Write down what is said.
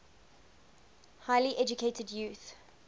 highly educated youth